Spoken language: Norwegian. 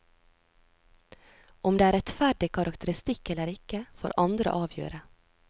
Om det er rettferdig karakteristikk eller ikke, får andre avgjøre.